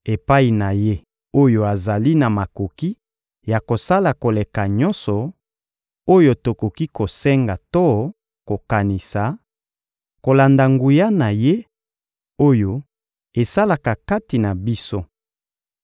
Epai na Ye oyo azali na makoki ya kosala koleka nyonso oyo tokoki kosenga to kokanisa, kolanda nguya na Ye, oyo esalaka kati na biso,